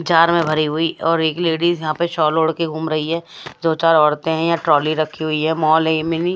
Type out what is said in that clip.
Jar में भरी हुई और एक लेडिस यहां पे शॉल ओडके घूम रही है जो चार औरतें हैं यहां ट्रॉली रखी हुई हैं माल है ये मिनी ।